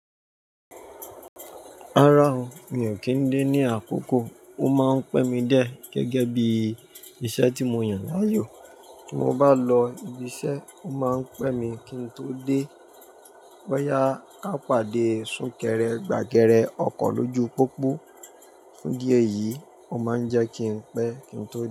Rárá o, mi ò kí ń dé ní àkókò, ó máa ń pẹ́ mi dié gẹ́gẹ́ bí iṣẹ́ tí mo yàn láàyò. Bí mo bá lọ ibi iṣẹ́, ó máa ń pẹ́ mi kí n tó dé. Boyà ká pàdé súnkẹrẹ, gbàgẹrẹ ọkọ̀ lójú pópó. Ní di ẹ yìí, ó máa ń jẹ́ kí n pẹ́ kí n tó dé.